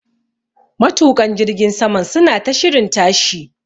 Matuƙan jirgin saman suna ta shirin tashi.